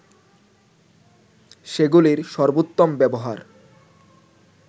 সেগুলির সর্বোত্তম ব্যবহার